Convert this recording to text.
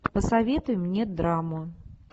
посоветуй мне драму